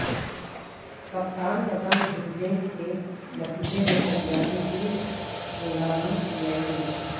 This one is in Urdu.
کپتان کا دم گھٹنے کے نتیجے میں طیارے کی ہنگامی لینڈنگ